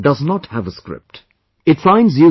This language does not have a script